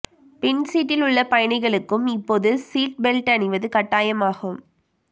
பின் சீட்டில் உள்ள பயணிகளுக்கும் இப்போது சீட் பெல்ட் அணிவது கட்டாயமாகும்